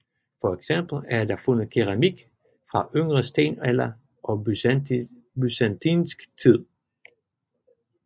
For eksempel er der fundet keramik fra yngre stenalder og byzantinsk tid